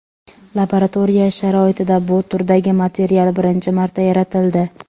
Laboratoriya sharoitida bu turdagi material birinchi marta yaratildi.